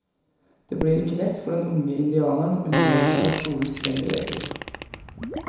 Det blir ikke lett for den unge indianeren å underordne seg skolens strenge regler.